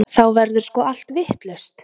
Þá verður sko allt vitlaust.